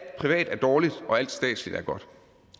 privat er dårligt og alt statsligt er godt